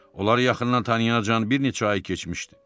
Onlar yaxından tanıyanacan bir neçə ay keçmişdi.